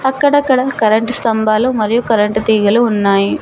అక్కడక్కడ కరెంట్ స్తంభాలు మరియు కరెంట్ తీగలు ఉన్నాయి.